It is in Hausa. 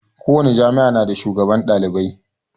Ko wani jami'a na da shugaban ɗalibai